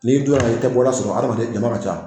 N'i donna i kɛ bɔda sɔrɔ adamaden donnɔ ka ca.